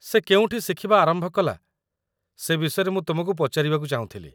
ସେ କେଉଁଠି ଶିଖିବା ଆରମ୍ଭ କଲା ସେ ବିଷୟରେ ମୁଁ ତୁମକୁ ପଚାରିବାକୁ ଚାହୁଁଥିଲି।